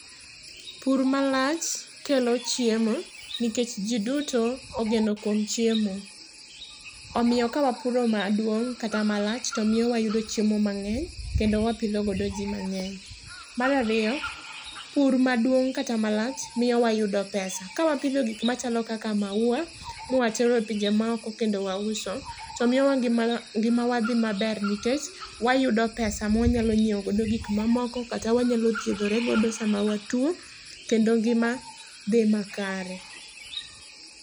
Pur malach kelo chiemo nkech jii duto ogeno kwom chiemo. Omio kawpuro maduong' kata malach tomio wayudo chiemo mang'eny, kendo wapidho godo jii mang'eny. Marario, pur maduong' kata malach mio wayudo pesa. Ka wapidho gik machalo kaka mauwa, mwatero e pinje maoko kendo wauso, to mio ngima ma ngimawa dhi maber nikech wayudo pesa mwanyalo nyiewo godo gik mamoko kata wanyalo thiedhore godo sama watuo, kendo ngima dhi makare.